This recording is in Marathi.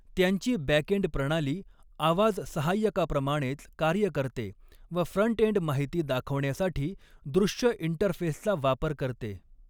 त्यांची बॅकअँड प्रणाली आवाज सहाय्यकाप्रमाणेच कार्य करते व फ्रंटएन्ड माहिती दाखवण्यासाठी दृश्य इंटरफेसचा वापर करते.